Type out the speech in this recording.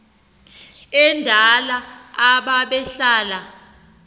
endala aba behlala